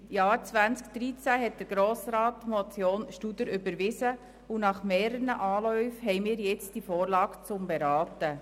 Im Jahr 2013 hat der Grosse Rat die Motion Studer überwiesen, und nach mehreren Anläufen liegt uns jetzt die Vorlage zur Beratung vor.